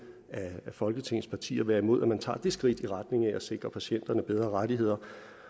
af folketingets partier være imod at man tager det skridt i retning af at sikre patienterne bedre rettigheder